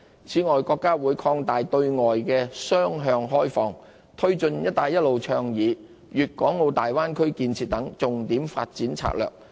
此外，國家會擴大對外雙向開放，推進"一帶一路"倡議、粵港澳大灣區建設等重點發展策略。